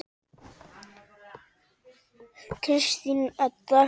Kristín Edda.